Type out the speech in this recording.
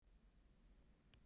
eldkeilur